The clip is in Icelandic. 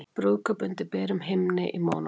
Brúðkaup undir berum himni í Mónakó